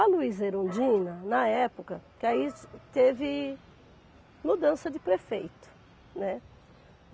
A Luíza Erundina, na época, que aí teve mudança de prefeito, né?